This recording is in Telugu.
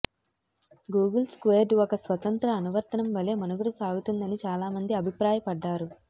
గూగుల్ స్క్వేర్డ్ ఒక స్వతంత్ర అనువర్తనం వలె మనుగడ సాగుతుందని చాలామంది అభిప్రాయపడ్డారు